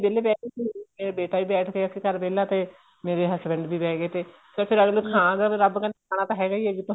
ਵਿਹਲੇ ਬੈਠ ਗਏ ਸੀ ਮੇਰਾ ਬੇਟਾ ਵੀ ਬੈਠ ਗਿਆ ਸੀ ਘਰ ਵਿਹਲਾ ਤੇ ਮੇਰੇ husband ਵੀ ਬਿਹ ਗਏ ਤੇ ਰੱਬ ਕਹਿੰਦਾ ਖਾਣਾ ਤਾਂ ਹੈਗਾ ਹੀ ਕਿੱਥੋ